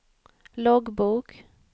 loggbok